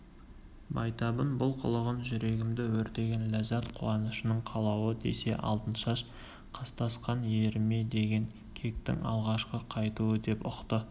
байтабын бұл қылығын жүрегімді өртеген ләззат қуанышының қалауы десе алтыншаш қастасқан еріме деген кектің алғашқы қайтуы деп ұқты